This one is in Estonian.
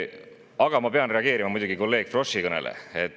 Aga ma pean muidugi reageerima kolleeg Froschi kõnele.